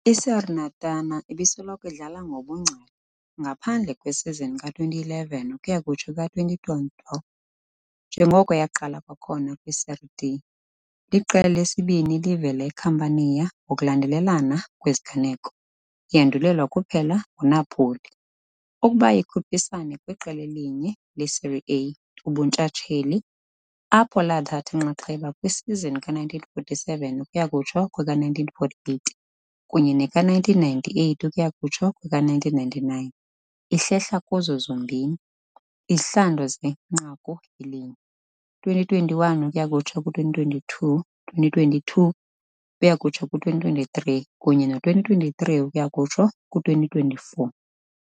I-Salernitana ibisoloko idlala ngobungcali, ngaphandle kwesizini ka -2011-2012, njengoko yaqala kwakhona kwiSerie D. Liqela lesibini elivela eCampania ngokulandelelana kweziganeko, yandulelwa kuphela nguNapoli, ukuba likhuphisane kwiqela elinye leSerie A ubuntshatsheli, apho lathatha inxaxheba kwisizini ka-1947-1948 kunye ne-1998-1999, ihlehla kuzo zombini. izihlandlo zenqaku elinye, 2021-2022, 2022-2023 kunye no -2023-2024.